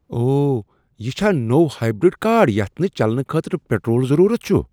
اوہ! یہ چھا نٕوٚ ہایبر٘ڈ كار یتھ نہٕ چلنہٕ خٲطرٕ پیٹرول ضروُرت چھٗ ؟